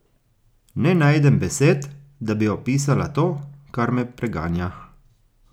Ne najdem besed, da bi opisala to, kar me preganja.